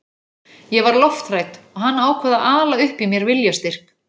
Ég var lofthrædd og hann ákvað að ala upp í mér viljastyrk.